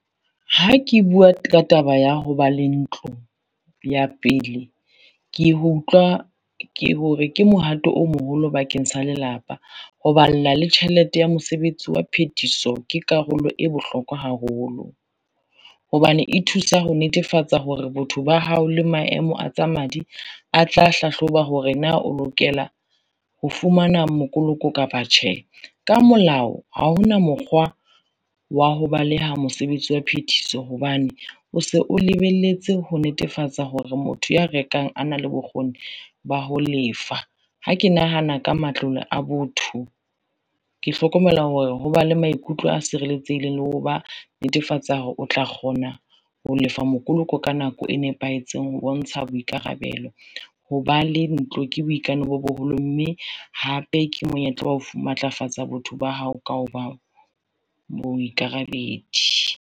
Ha ke bua, ka taba ya ho ba le ntlo ya pele, ke ho utlwa hore ke mohato o moholo bakeng sa lelapa ho balla le tjhelete ya mosebetsi wa phethiso ke karolo e bohlokwa haholo. Hobane e thusa ho netefatsa hore, botho ba hao le maemo a tsa madi a tla hlahloba hore na o lokela ho fumana mokoloko kapa tjhe. Ka molao ha hona mokgwa wa ho baleha mosebetsi wa phethiso hobane o se o lebelletse ho netefatsa hore motho ya rekang a na le bokgoni ba ho lefa. Ha ke nahana ka matlole a botho, ke hlokomela hore ho ba le maikutlo a sireletsehileng le ho ba netefatsa hore o tla kgona ho lefa mokoloko ka nako e nepahetseng ho bontsha boikarabelo, ho ba le ntlo ke boikano bo boholo mme hape ke monyetla wa ho matlafatsa botho ba hao ka ho ba moikarabedi.